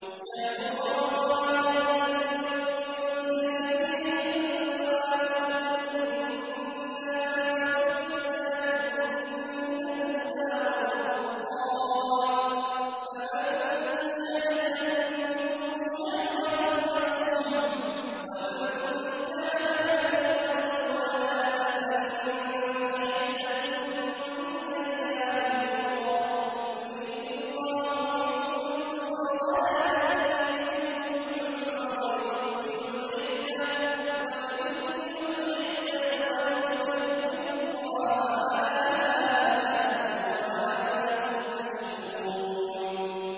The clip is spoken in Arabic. شَهْرُ رَمَضَانَ الَّذِي أُنزِلَ فِيهِ الْقُرْآنُ هُدًى لِّلنَّاسِ وَبَيِّنَاتٍ مِّنَ الْهُدَىٰ وَالْفُرْقَانِ ۚ فَمَن شَهِدَ مِنكُمُ الشَّهْرَ فَلْيَصُمْهُ ۖ وَمَن كَانَ مَرِيضًا أَوْ عَلَىٰ سَفَرٍ فَعِدَّةٌ مِّنْ أَيَّامٍ أُخَرَ ۗ يُرِيدُ اللَّهُ بِكُمُ الْيُسْرَ وَلَا يُرِيدُ بِكُمُ الْعُسْرَ وَلِتُكْمِلُوا الْعِدَّةَ وَلِتُكَبِّرُوا اللَّهَ عَلَىٰ مَا هَدَاكُمْ وَلَعَلَّكُمْ تَشْكُرُونَ